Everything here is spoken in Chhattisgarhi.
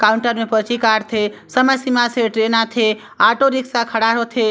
काउंटर मे पर्ची काट थे समय सीमा से ट्रैन आथे ऑटो रिक्शा खड़ा हो थे।